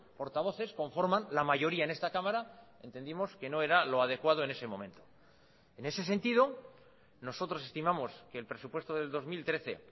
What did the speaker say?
portavoces conforman la mayoría en esta cámara entendimos que no era lo adecuado en ese momento en ese sentido nosotros estimamos que el presupuesto del dos mil trece